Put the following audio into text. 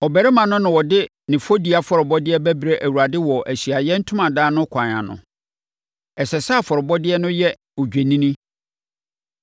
Ɔbarima no na ɔde ne fɔdie afɔrebɔdeɛ bɛbrɛ Awurade wɔ Ahyiaeɛ Ntomadan no kwan ano. Ɛsɛ sɛ afɔrebɔdeɛ no yɛ odwennini.